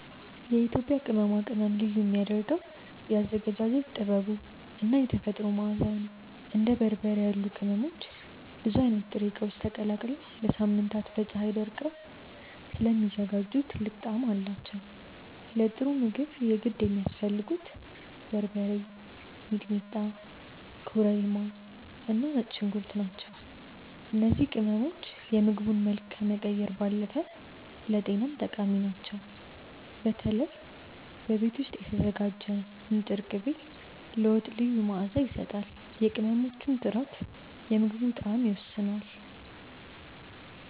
የኢትዮጵያ ቅመማ ቅመም ልዩ የሚያደርገው የአዘገጃጀት ጥበቡ እና የተፈጥሮ መዓዛው ነው። እንደ በርበሬ ያሉ ቅመሞች ብዙ አይነት ጥሬ እቃዎች ተቀላቅለው ለሳምንታት በፀሀይ ደርቀው ስለሚዘጋጁ ጥልቅ ጣዕም አላቸው። ለጥሩ ምግብ የግድ የሚያስፈልጉት በርበሬ፣ ሚጥሚጣ፣ ኮረሪማ እና ነጭ ሽንኩርት ናቸው። እነዚህ ቅመሞች የምግቡን መልክ ከመቀየር ባለፈ ለጤናም ጠቃሚ ናቸው። በተለይ በቤት ውስጥ የተዘጋጀ ንጥር ቅቤ ለወጥ ልዩ መዓዛ ይሰጣል። የቅመሞቹ ጥራት የምግቡን ጣዕም ይወስነዋል።